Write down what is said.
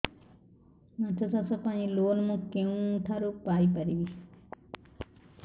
ମାଛ ଚାଷ ପାଇଁ ଲୋନ୍ ମୁଁ କେଉଁଠାରୁ ପାଇପାରିବି